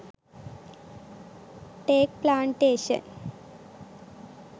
teak plantation